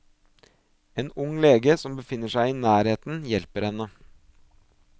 En ung lege som befinner seg i nærheten hjelper henne.